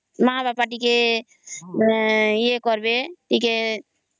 ମା ବାପା ଟିକେ ଇ ଏ କର ବେ